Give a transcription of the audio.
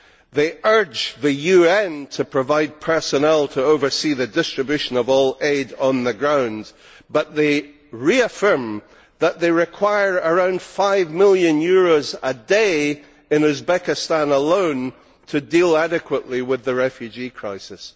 They urge the UN to provide personnel to oversee the distribution of all aid on the ground, but they reaffirm that they require around EUR 5 million a day in Uzbekistan alone to deal adequately with the refugee crisis.